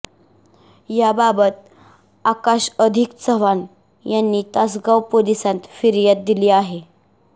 याबाबत आकाश अधिक चव्हाण यांनी तासगाव पोलिसांत फिर्याद दिली आहे